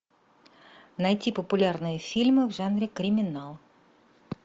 найти популярные фильмы в жанре криминал